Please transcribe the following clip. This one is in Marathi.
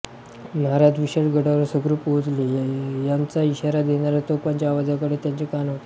महाराज विशाळगडावर सुखरूप पोहोचले याचा इशारा देणाऱ्या तोफांच्या आवाजाकडे त्यांचे कान होते